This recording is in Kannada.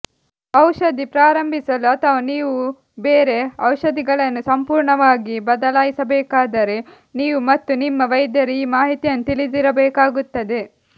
ಔಷಧಿ ಪ್ರಾರಂಭಿಸಲು ಅಥವಾ ನೀವು ಬೇರೆ ಔಷಧಿಗಳನ್ನು ಸಂಪೂರ್ಣವಾಗಿ ಬದಲಾಯಿಸಬೇಕಾದರೆ ನೀವು ಮತ್ತು ನಿಮ್ಮ ವೈದ್ಯರು ಈ ಮಾಹಿತಿಯನ್ನು ತಿಳಿದಿರಬೇಕಾಗುತ್ತದೆ